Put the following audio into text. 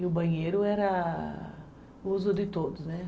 E o banheiro era uso de todos, né?